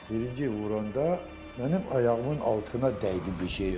Birinci vuranda mənim ayağımın altına dəydi bir şey.